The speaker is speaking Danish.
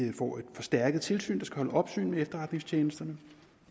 vi får et par stærke tilsyn der skal holde opsyn med efterretningstjenesterne